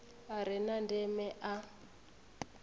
a re na ndeme a